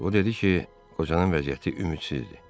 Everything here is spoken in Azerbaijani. O dedi ki, qocanın vəziyyəti ümidsizdir.